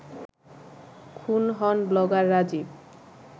খুন হন ব্লগার রাজীব